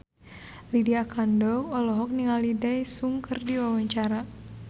Lydia Kandou olohok ningali Daesung keur diwawancara